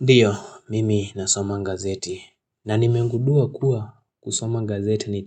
Ndiyo, mimi nasoma gazeti, na nimengudua kuwa kusoma gazeti ni